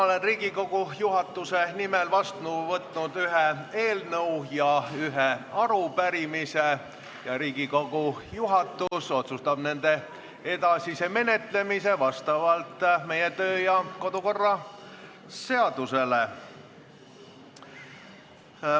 Olen Riigikogu juhatuse nimel vastu võtnud ühe eelnõu ja ühe arupärimise, juhatus otsustab nende edasise menetlemise vastavalt meie kodu- ja töökorra seadusele.